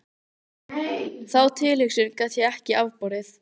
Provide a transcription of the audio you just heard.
Þá tilhugsun gat ég ekki afborið.